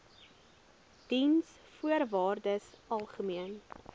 diensvoorwaardesalgemene